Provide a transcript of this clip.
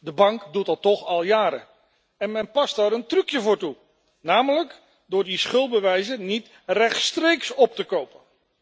De bank doet dat toch al jaren. En men past daar een trucje voor toe, namelijk door die schuldbewijzen niet rechtstreeks op te kopen.